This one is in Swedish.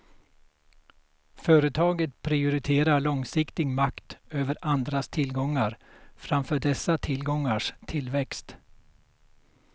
Företaget prioriterar långsiktig makt över andras tillgångar, framför dessa tillgångars tillväxt.